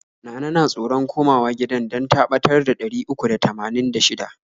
Nana na tsoron koma wa gidan dan ta ɓatar da ɗari uku da tamanin da shida.